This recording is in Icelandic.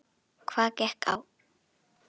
Hvað gekk á?